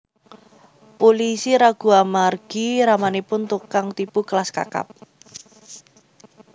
Pulisi ragu amargi ramanipun tukang tipu kelas kakap